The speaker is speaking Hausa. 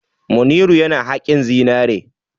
Manniru yana haƙin zinare.